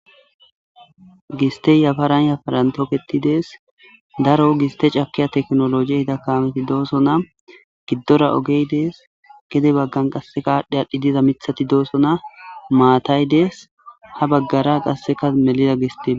gistey yafaran yaparantoketidees daro giste cakiya teknoloji hida kaameti dooso na giddora ogeydees gede baggan qasse kaadhdhe adhdhi diza mithati dooso na maatay dees ha baggara qasseka melida gistiema